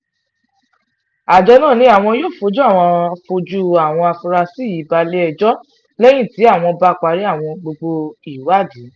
àjọ náà ni àwọn yóò fojú àwọn fojú àwọn afurasí yìí balẹ̀-ẹjọ́ lẹ́yìn tí àwọn bá parí gbogbo ìwádìí